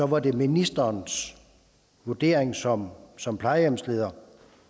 var det ministerens vurdering som som plejehjemsleder